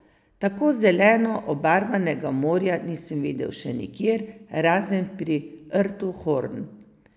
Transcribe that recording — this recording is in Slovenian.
Tako zeleno obarvanega morja nisem videl še nikjer, razen pri rtu Horn.